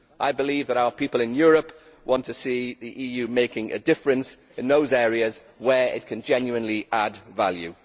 I believe that our people in Europe want to see the EU making a difference in those areas where it can genuinely add value.